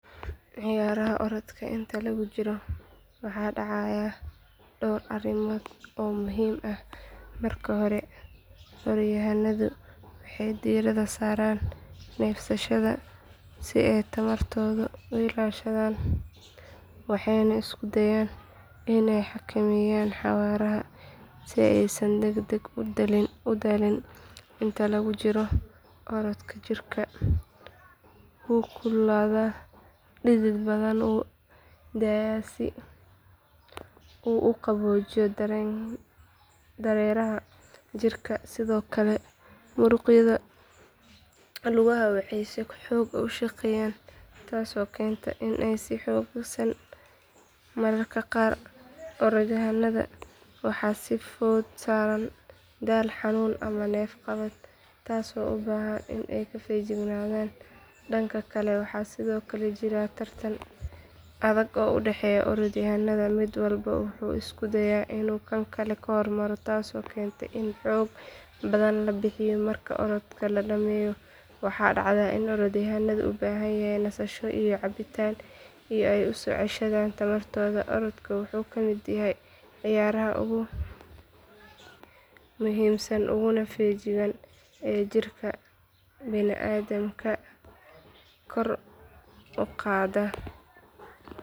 Cayaaraha orodka inta lagu jiro waxaa dhacaya dhowr arrimood oo muhiim ah marka hore orodyahannadu waxay diiradda saaraan neefsashada si ay tamartooda u ilaashaan waxayna isku dayaan in ay xakameeyaan xawaaraha si aysan degdeg u daalin inta lagu jiro orodka jirka wuu kululaadaa dhidid badanna wuu daayaa si uu u qaboojiyo dareeraha jirka sidoo kale muruqyada lugaha waxay si xoog leh u shaqeeyaan taasoo keenta in ay sii xoogaystaan mararka qaar orodyahannada waxaa soo food saara daal xanuun ama neef qabad taasoo u baahan in ay ka feejignaadaan dhanka kale waxaa sidoo kale jira tartan adag oo u dhexeeya orodyahannada mid walba wuxuu isku dayayaa inuu kan kale ka hormaro taasoo keenta in xoog badan la bixiyo marka orodka la dhammeeyo waxaa dhacda in orodyahannadu ay u baahdaan nasasho iyo cabitaan si ay u soo ceshadaan tamartooda orodku wuxuu ka mid yahay ciyaaraha ugu muhiimsan uguna feejigan ee jirka bini’aadamka kor u qaada.